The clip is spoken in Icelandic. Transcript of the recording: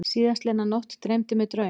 Síðastliðna nótt dreymdi mig draum.